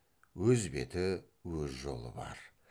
өз беті өз жолы бар